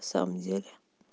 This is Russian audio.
в самом деле